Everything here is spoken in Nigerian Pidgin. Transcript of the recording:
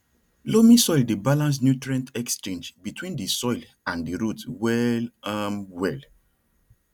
loamy soil dey balance nutrient exchange between di soil and di root well um well